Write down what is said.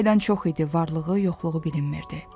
İki aydan çox idi varlığı, yoxluğu bilinmirdi.